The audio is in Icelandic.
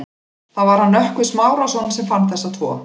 Það var hann Nökkvi Smárason sem fann þessa tvo.